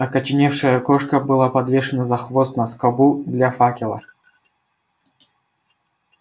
окоченевшая кошка была подвешена за хвост на скобу для факела